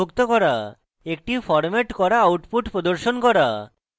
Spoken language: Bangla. একটি ফরম্যাট করা output প্রদর্শন করা